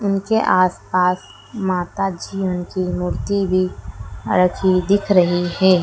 उनके आस पास माता जी उनकी मूर्ति भी रखी दिख रही है।